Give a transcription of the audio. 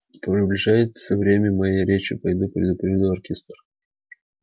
приближается время моей речи пойду предупрежу оркестр